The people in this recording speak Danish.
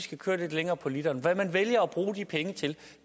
skal køre lidt længere på literen hvad man vælger at bruge de penge til